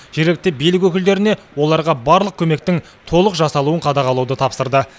жергілікті билік өкілдеріне оларға барлық көмектің толық жасалуын қадағалауды тапсырды